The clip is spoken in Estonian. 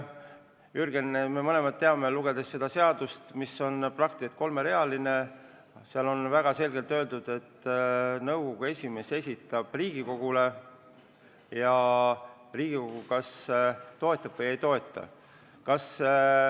Jürgen, me mõlemad teame, olles lugenud seda eelnõu, mis on praktiliselt kolmerealine, et seal on väga selgelt öeldud, et nõukogu esimees esitab koosseisu Riigikogule ja Riigikogu kas toetab seda või ei toeta.